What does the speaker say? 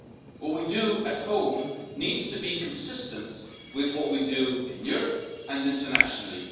What we do at home needs to be consistent with what we do in Europe and internationally.